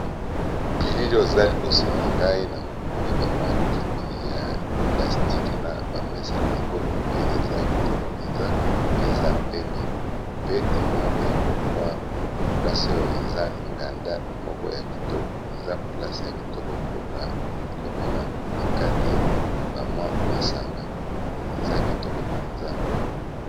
Bilili oyo eza liboso na ngai na moni bamwa kiti ya plastique na bamesa na yango pe eza ya kitoko mpenza pe eza pembe pe emonani mwa place oyo eza nganda moko ya kitoko eza place ya kitoko mpona komela na kati bamwa masanga eza kitoko mpenza.